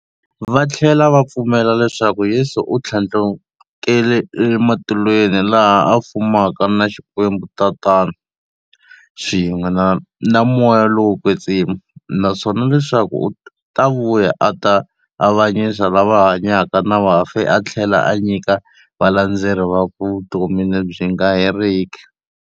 Vathlela va pfumela leswaku Yesu u thlandlukele ematilweni, laha a fumaka na Xikwembu-Tatana, swin'we na Moya lowo kwetsima, naswona leswaku u ta vuya a ta avanyisa lava hanyaka na vafi a thlela a nyika valandzeri vakwe vutomi lebyi nga heriki.